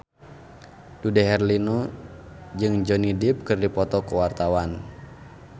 Dude Herlino jeung Johnny Depp keur dipoto ku wartawan